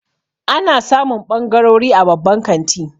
Ana samun ɓangarori a babban kanti.